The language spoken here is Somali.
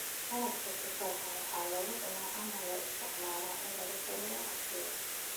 Qarabka tufaax waxaa lagu cunaa ama loo isticmaalaa in lagu sameeyo casiir.